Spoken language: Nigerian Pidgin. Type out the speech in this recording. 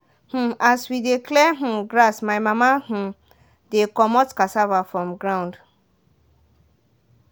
um as we dey clear um grass my mama um dey comot cassava from ground.